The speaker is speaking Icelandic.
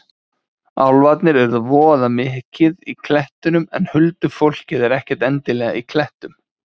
Álfarnir eru voða mikið í klettunum en huldufólkið er ekkert endilega í klettum.